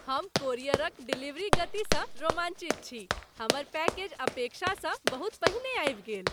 हम कोरियरक डिलीवरी गतिसँ रोमाञ्चित छी। हमर पैकेज अपेक्षासँ बहुत पहिने आबि गेल!